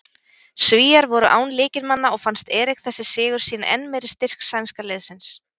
Svíar voru án lykilmanna og fannst Erik þessi sigur sýna enn meira styrk sænska liðsins.